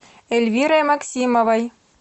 эльвирой максимовой